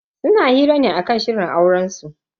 Suna hira ne akan shirin aurensu.